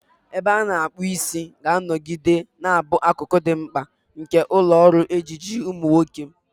Ebe a na-akpu isi ga-anọgide na-abụ akụkụ dị mkpa nke ụlọ ọrụ ejiji ụmụ nwoke.